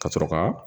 Ka sɔrɔ ka